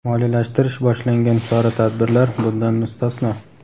moliyalashtirish boshlangan chora-tadbirlar bundan mustasno.